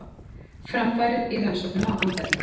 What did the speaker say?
Framfarir í rannsóknum á andefni